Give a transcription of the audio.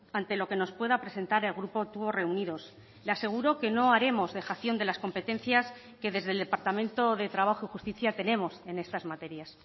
ante lo que nos pueda presentar el grupo tubos reunidos le aseguro que no haremos dejación de las competencias que desde el departamento de trabajo y justicia tenemos en estas materias